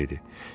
Harvi dedi.